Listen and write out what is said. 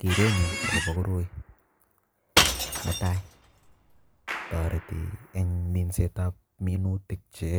Kerenyu akobo koroi netai, toreti eng minsetab minutik che